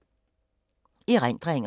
Erindringer